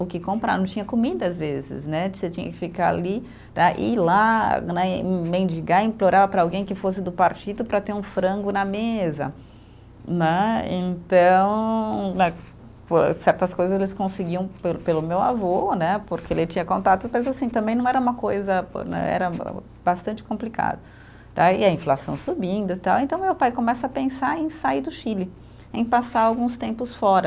o que comprar, não tinha comida às vezes né, você tinha que ficar ali tá, ir lá né, e mendigar, implorar para alguém que fosse do partido para ter um frango na mesa né, então né, por certas coisas eles conseguiam pelo pelo meu avô né, porque ele tinha contato, mas assim, também não era uma coisa né, era o bastante complicado tá, e a inflação subindo, tal, então meu pai começa a pensar em sair do Chile, em passar alguns tempos fora,